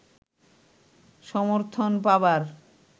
সমর্থন পাবার